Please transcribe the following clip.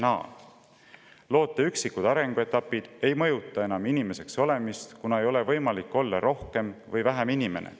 Loote üksikud arenguetapid ei mõjuta enam inimeseks olemist, kuna ei ole võimalik olla rohkem või vähem inimene.